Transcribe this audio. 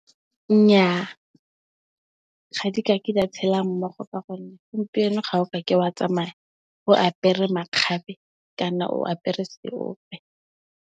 Nnyaa ga di ka ke di a tshela mmogo ka gonne, gompieno ga o ka ke wa tsamaya o apere makgabe kana o apere seope.